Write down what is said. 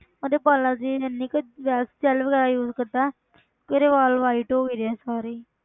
ਉਹਦੇ ਵਾਲਾਂ ਤੇ ਇੰਨੀ ਕੁ ਜੈ~ gel ਵਗ਼ੈਰਾ use ਕਰਦਾ ਹੈ ਕਿ ਉਹਦੇ ਵਾਲ white ਹੋ ਗਏ ਆ ਸਾਰੇ ਹੀ